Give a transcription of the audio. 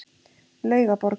Laugaborg